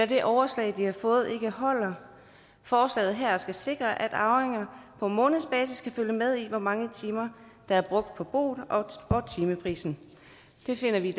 det overslag de har fået ikke holder forslaget her skal sikre at arvinger på månedsbasis kan følge med i hvor mange timer der er brugt på boet og timeprisen det finder vi i